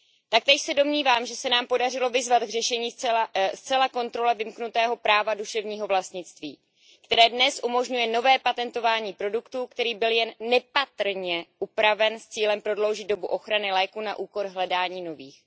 Taktéž se domnívám, že se nám podařilo vyzvat k řešení zcela kontrole vymknutého práva duševního vlastnictví, které dnes umožňuje nové patentování produktu, který byl jen nepatrně upraven, s cílem prodloužit dobu ochrany léku na úkor hledání nových.